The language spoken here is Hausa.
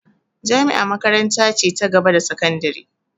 Jami'a makaranta ce ta gaba da sakandire